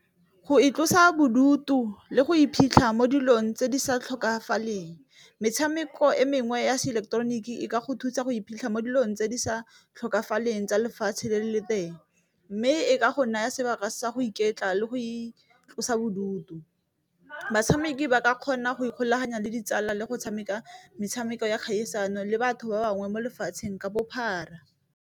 Go itlosa bodutu le go iphitlha mo dilong tse di sa tlhokagaleng metshameko e mengwe ya se ileketeroniki e ka go thusa go iphitlha mo dilong tse di sa tlhokagaleng tsa lefatshe le le teng, mme e ka go naya sebaka sa go iketla le go itlosa bodutu. Batshameki ba ka kgona go ikgolaganya le ditsala le go tshameka metshameko ya kgaisano le batho ba bangwe mo lefatsheng ka bophara.